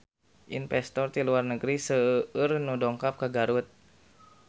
Investor ti luar negeri seueur nu dongkap ka Garut